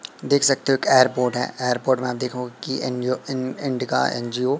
देख सकते हो कि एयरपोर्ट है एयरपोर्ट में देखो की एंजियो इन इंडिका एन_जी_ओ --